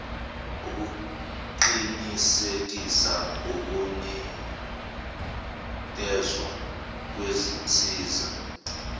ukuqinisekisa ukunikezwa kwezinsiza